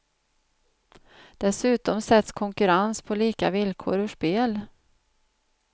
Dessutom sätts konkurrens på lika villkor ur spel.